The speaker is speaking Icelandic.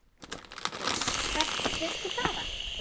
Sindri: Hvert viltu fara?